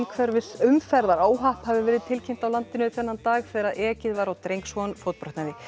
umferðaróhapp hafi verið tilkynnt á landinu þann dag þegar ekið var á dreng svo hann fótbrotnaði